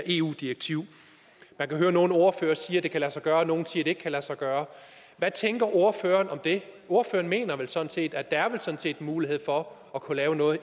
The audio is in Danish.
eu direktivet man kan høre nogle af ordførerne sige at det kan lade sig gøre og nogle siger at det ikke kan lade sig gøre hvad tænker ordføreren om det ordføreren mener vel sådan set at der er mulighed for at kunne lave noget